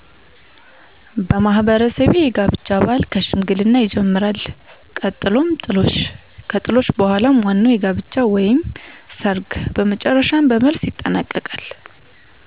በማህበረሰቤ የጋብቻ ባህል ከሽምግልና ይጀምራል ቀጥሎም ጥሎሽ ከጥሎሽ በኃላም ዋናዉ የጋብቻ ወይም ሰርግ በመጨረሻም በመልስ ይጠናቀቃል።